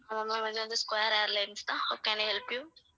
ஆமாம் ma'am இது வந்து ஸ்கொயர் ஏர்லைன்ஸ் தான் how can i help you